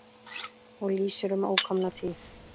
Og lýsir um ókomna tíð.